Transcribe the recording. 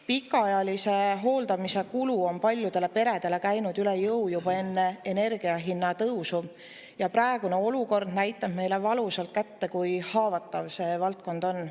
Pikaajalise hooldamise kulu käis paljudele peredele üle jõu juba enne energiahindade tõusu ja praegune olukord näitab meile valusalt kätte, kui haavatav see valdkond on.